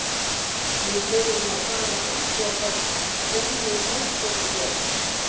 Og við þurfum að fara að athuga hvað Johnny Mate er að gera.